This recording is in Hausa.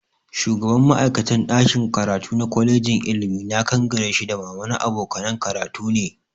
Shugaban ma'aikatan ɗakin karatu na kwalejin ilimi na Kangare shi da mama na abokanan karatu ne